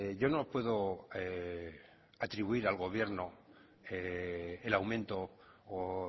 yo no puedo atribuir al gobierno el aumento o